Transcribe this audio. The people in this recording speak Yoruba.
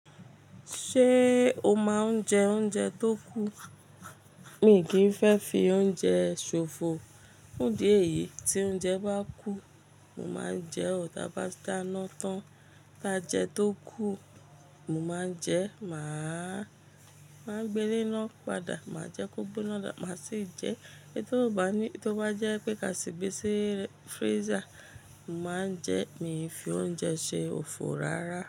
Ṣé o máa ń jẹ oúnjẹ tó kù? Mi kì í fẹ́ fi oúnjẹ ṣòfò. Fun idi eyìí tí oúnjẹ bá kù, mo máa ń jẹ ọ̀tabà dáná tán. Tá jẹ tó kù, mo máa ń jẹ, màá, máa gbé lená padà, màá jẹ kó gbona da, màá sì jẹ. Éto bá ní, tí ó bá jẹ́ pé ka sì gbé sí freezer, màá ń jẹ, mi fi oúnjẹ ṣe òfò rárá.